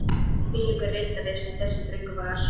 Þvílíkur riddari sem þessi drengur var.